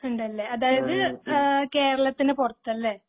ഇണ്ടല്ലേ അതായത് ഏഹ് കേരളത്തിന് പൊറത്തല്ലേ